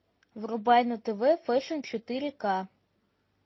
врубай на тв фэшн четыре к